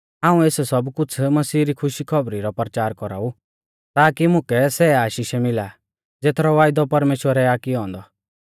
हाऊं एस सब कुछ़ मसीह री खुशी री खौबरी रौ परचारा लै कौराऊ ताकी मुकै सै आशीषै मिला ज़ेथरौ वायदौ परमेश्‍वरै आ कियौ औन्दौ